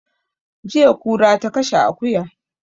Jiya kura ta kashe akuya